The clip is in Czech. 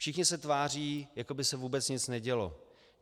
Všichni se tváří, jako by se vůbec nic nedělo.